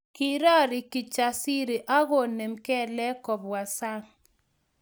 Kirori Kijasiri agomoinem kelek kobwa sang